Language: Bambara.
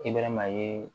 Ki bɛɛrɛ maa ye